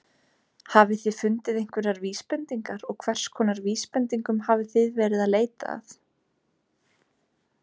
Hafið þið fundið einhverjar vísbendingar og hverskonar vísbendingum hafið þið verið að leita að?